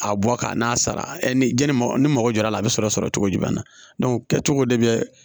A bɔ ka n'a sara ni janni ni mɔgɔ jɔra a bɛ sɔrɔ sɔrɔ cogo jumɛn na kɛcogo de bɛ